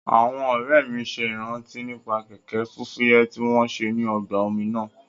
Àwọn ọ̀rẹ́ mi ṣe ìrántí nípa kẹ̀kẹ́ fúfúyẹ́ tí wọ́n ṣe ní ọgbà omi náà